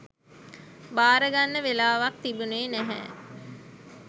භාරගන්න වෙලාවක් තිබුණේ නැහැ.